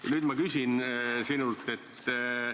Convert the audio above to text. Ja nüüd ma küsin sinult sellist asja.